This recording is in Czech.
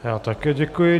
Já také děkuji.